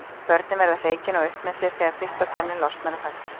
Börnin verða hreykin og upp með sér þegar fyrsta tönnin losnar og fellur.